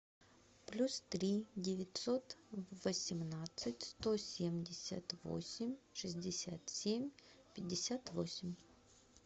плюс три девятьсот восемнадцать сто семьдесят восемь шестьдесят семь пятьдесят восемь